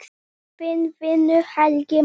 Þinn vinur, Helgi Már.